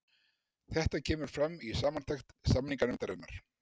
Þetta kemur fram í samantekt samninganefndarinnar